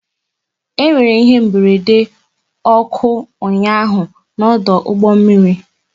E nwere ihe mberede ọkụ ụnyaahụ n'ọdụ ụgbọ mmiri